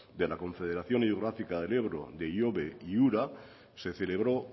de la confederación hidrográfica del ebro de ihobe y ura se celebró